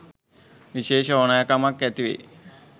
විශේෂ ඕනෑකමක්‌ ඇතිවෙයි.